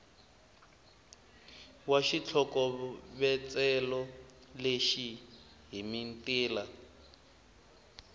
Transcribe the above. wa xitlhokovetselo lexi hi mitila